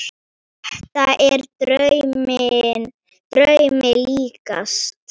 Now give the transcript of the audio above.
Þetta er draumi líkast.